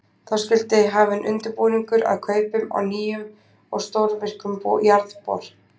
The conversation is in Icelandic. Þá skyldi hafinn undirbúningur að kaupum á nýjum og stórvirkum jarðbor.